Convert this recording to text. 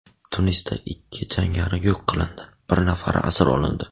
Tunisda ikki jangari yo‘q qilindi, bir nafari asir olindi.